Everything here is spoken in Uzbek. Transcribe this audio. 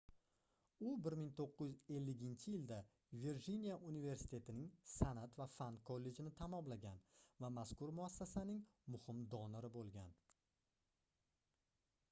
u 1950-yilda virjiniya universitetining sanʼat va fan kollejini tamomlagan va mazkur muassasaning muhim donori boʻlgan